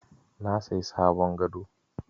Na sayi sabon gado.